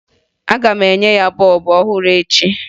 Aga m enye ya bọọbụ ọhụrụ echi